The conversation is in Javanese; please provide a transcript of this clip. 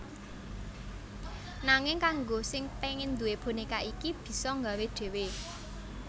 Nanging kanggo sing pengen duwé boneka iki bisa nggawe dhéwé